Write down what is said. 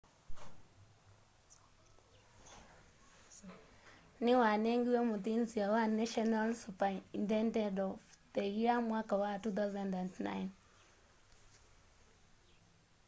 niwanengiwe muthinzio wa national superintendent of the year mwaka wa 2009